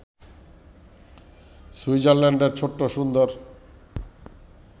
সুইজারল্যান্ডের ছোট্ট সুন্দর